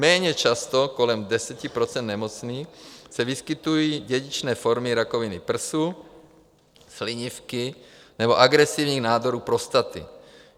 Méně často, kolem 10 % nemocných, se vyskytují dědičné formy rakoviny prsu, slinivky nebo agresivních nádorů prostaty.